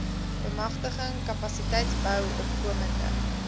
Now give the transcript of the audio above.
bemagtiging kapasiteitsbou opkomende